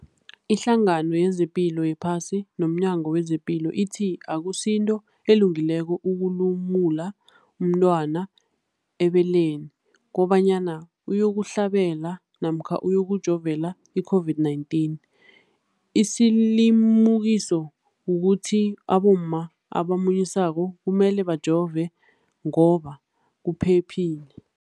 Ipendulo, iHlangano yezePilo yePhasi nomNyango wezePilo ithi akusinto elungileko ukulumula umntwana ebeleni kobanyana uyokuhlabela namkha uyokujovela i-COVID-19. Isilimukiso kukuthi abomma abamunyisako kumele bajove ngoba kuphephile.